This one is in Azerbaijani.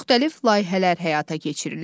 Müxtəlif layihələr həyata keçirilir.